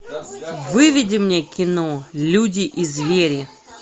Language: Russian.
выведи мне кино люди и звери